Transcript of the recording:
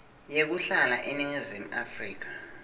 yekuhlala eningizimu afrika